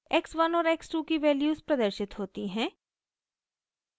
x1 और x2 की values प्रदर्शित होती हैं